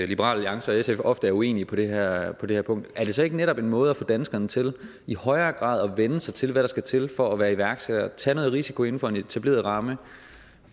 liberal alliance og sf ofte er uenige på det her her punkt er det så ikke netop en måde at få danskerne til i højere grad at vænne sig til hvad der skal til for at være iværksætter nemlig at tage noget risiko inden for en etableret ramme og